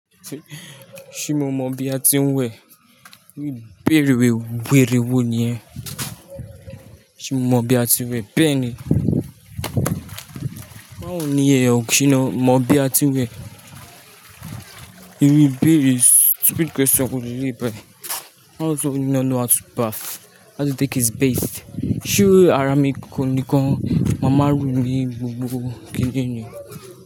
Ṣé mo mọ bí a ti ń wẹ̀? Ìbéèrè wèrè wo ni yẹ́n? Ṣé mo mọ bí a ti ń wẹ̀? Bẹ́ẹ̀ ni. Báwo ni ẹ ò ṣe mọ bí a ti ń wẹ̀? Ìbéèrè stupid question wò le leyii bai. How does one not know how to bath? How to take his bath? Ṣé ara mi nìkan ni mo máa rì ní gbogbo kini ni?